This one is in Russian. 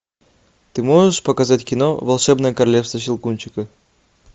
ты можешь показать кино волшебное королевство щелкунчика